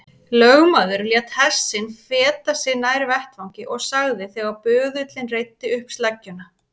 Lögmaður lét hest sinn feta sig nær vettvangi og sagði þegar böðullinn reiddi upp sleggjuna